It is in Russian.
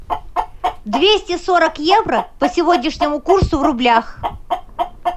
двести сорок евро по сегодняшнему курсу в рублях